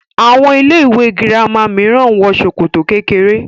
Àwọn ilé-ìwé girama mìíràn ń wọ ṣòkòtò kékeré.